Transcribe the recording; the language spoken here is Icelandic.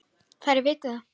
Þær viti það.